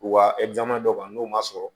U ka dɔw kan n'o ma sɔrɔ